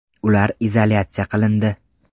Ular izolyatsiya qilindi.